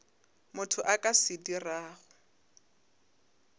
motho a ka se dirago